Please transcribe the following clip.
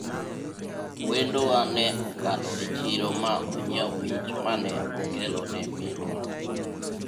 wendo wa ne okalo e chiro ma onyiewo mich mane okelo ne minwa